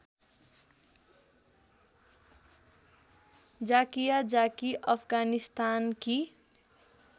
Zakia Zaki अफगानस्तानकी